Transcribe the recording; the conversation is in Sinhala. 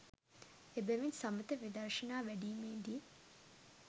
එබැවින් සමථ විදර්ශනා වැඩීමේ දී